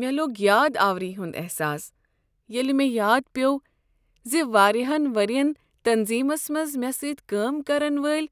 مےٚ لوٚگ یاداوری ہُند احساس ییلہ مےٚ یاد پیوٚو زِ واریہن ورۍین تنظیمس منز مےٚ سۭتی کٲم کرن وٲلۍ